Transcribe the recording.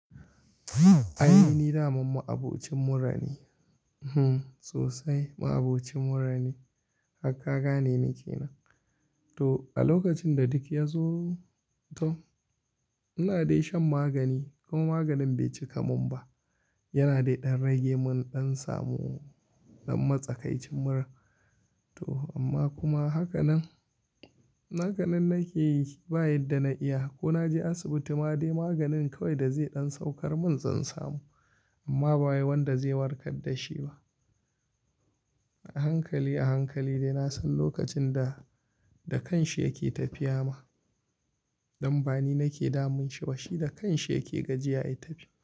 Ainihi ni daman ma abocin murane, hm sosai ma abocin murane harka gane ni ke nan. To a lokacin da duk ya zo to, ina dai shan magani kuma maganin bai cika mun ba. Yana dai ɗan rage mun ɗan samu ɗan matsakaicin mura toh amma kuma hakan nan, hakan nan nake yi shi ba yi da na iya ko na je asibiti ma dai maganin kawai da zai ɗan saukar mun zan samu amma ba wanda zai warkar da shi ba. A hankali, a hankali dai na san lokacin da, da kanshi yake tafiya ma. Dan bani nake damun shi ba shi da kanshi yake gajiya ya tafi.